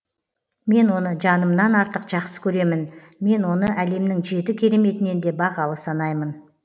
мен оны жанымнан артық жақсы көремін мен оны әлемнің жеті кереметінен де бағалы санаймын